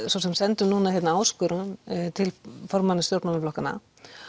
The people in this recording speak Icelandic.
svo sem sendum núna áskorun til formanna stjórnmálaflokkanna